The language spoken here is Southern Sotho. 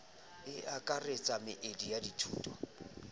e akaretsang meedi ya dithuto